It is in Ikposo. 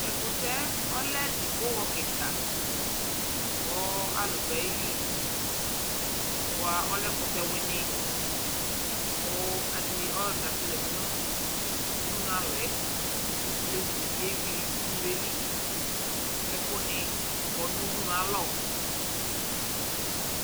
Tʋ ɛkʋtɛ yɛ, ɔlɛ dzipoxɔ kɩka kʋ alʋ dʋ ayili Bʋa, ɔlɛ ɛkʋtɛwɩnɩ kʋ adɩnɩ ɔlɔdɩ la fa zati nʋ udunualɔ yɛ Olevi dɩ bɩ yeyui udunu yɛ li kʋ ɛkʋnɩ kɔ nʋ udunu yɛ alɔ